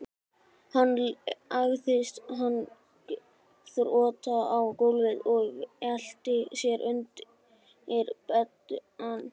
Hann lagðist magnþrota á gólfið og velti sér undir beddann.